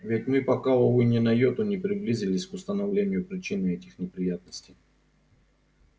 ведь мы пока увы ни на йоту не приблизились к установлению причины этих неприятностей